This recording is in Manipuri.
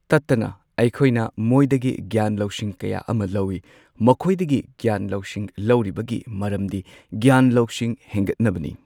ꯇꯠꯇꯅ ꯑꯩꯈꯣꯏꯅ ꯃꯣꯏꯗꯒꯤ ꯒ꯭ꯌꯥꯟ ꯂꯧꯁꯤꯡ ꯀꯌꯥ ꯑꯃ ꯂꯧꯢ ꯃꯈꯣꯏꯗꯒꯤ ꯒ꯭ꯌꯥꯟ ꯂꯧꯁꯤꯡ ꯂꯧꯔꯤꯕꯒꯤ ꯃꯔꯝꯗꯤ ꯒ꯭ꯔꯥꯟ ꯂꯧꯁꯤꯡ ꯍꯦꯟꯒꯠꯅꯕꯅꯤ꯫